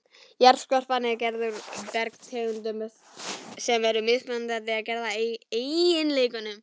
Jarðskorpan er gerð úr bergtegundum sem eru mismunandi að gerð og eiginleikum.